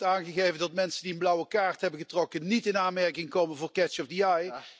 U heeft net aangegeven dat mensen die een blauwe kaart hebben getrokken niet in aanmerking komen voor catch the eye.